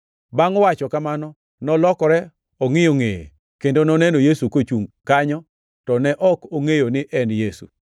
Bangʼ wacho kamano, nolokore ongʼiyo ngʼeye, kendo noneno Yesu kochungʼ kanyo, to ne ok ongʼeyo ni en Yesu.